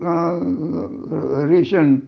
ration